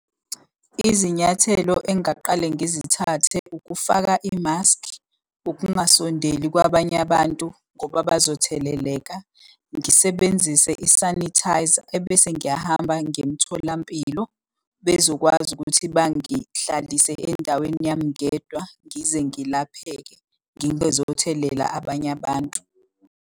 Izinyathelo engingaqala ngizithathe, ukufaka imaskhi, ukungasondeli kwabanye abantu ngoba bazotheleleka. Ngisebenzise isanithayza ebese ngiyahamba ngiye emtholampilo bezokwazi ukuthi bangahlalise endaweni yami ngedwa ngize ngilapheke ngingezothelela abanye abantu.